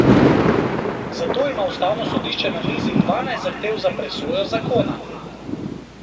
Zato ima ustavno sodišče na mizi dvanajst zahtev za presojo zakona.